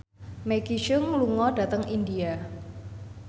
Maggie Cheung lunga dhateng India